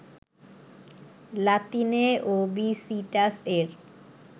লাতিনে ওবিসিটাস এর